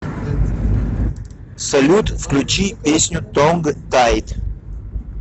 салют включи песню тонг тайд